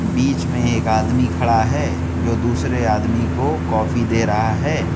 बीच में एक आदमी खड़ा है जो दूसरे आदमी को कॉफी दे रहा है।